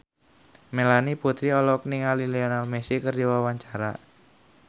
Melanie Putri olohok ningali Lionel Messi keur diwawancara